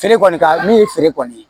Feere kɔni ka min ye feere kɔni ye